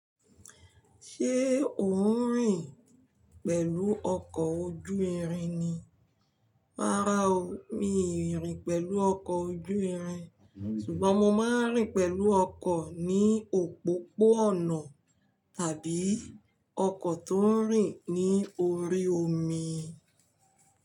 Ṣé o ń rìn pẹ̀lú ọkọ̀ ojú irin ni? Rárá o, mi ò rìn pẹ̀lú ọkọ̀ ojú irin, ṣùgbọ́n mo máa ń rìn pẹ̀lú ọkọ̀ ní òpópó-ọ̀nà tàbí ọkọ̀ tó ń rìn ní orí omi.